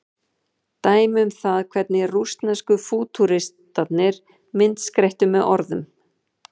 Dæmi um það hvernig rússnesku fútúristarnir myndskreyttu með orðum.